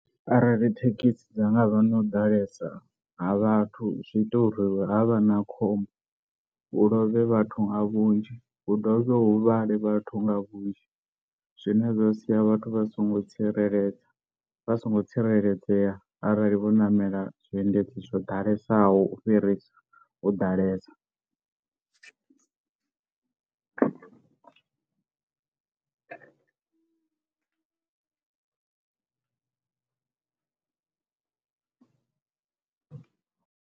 Arali thekhisi dza nga vha na u ḓalesa ha vhathu zwi ita uri ha vha na khombo hu lovhe vhathu nga vhunzhi hu dovhe hu huvhale vhathu nga vhunzhi, zwine zwa sia vhathu vha songo tsireledza vha so ngo tsireledzea arali vho namela zwiendedzi zwo ḓalesaho u fhirisa u ḓalesa.